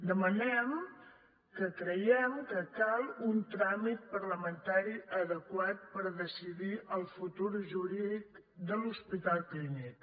demanem que creiem que cal un tràmit parlamentari adequat per decidir el futur jurídic de l’hospital clínic